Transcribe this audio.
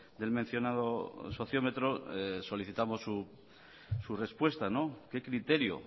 del mencionado socio metro solicitamos su respuesta qué criterio